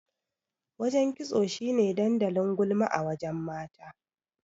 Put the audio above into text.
Wajen kitso shine dandalin gulma a wajen mata.